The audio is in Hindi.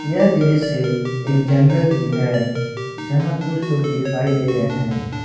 यह दृश्य एक जंगल की है यहां कुछ लोग दिखाई दे रहे हैं।